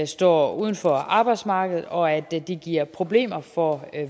står uden for arbejdsmarkedet og at det det giver problemer for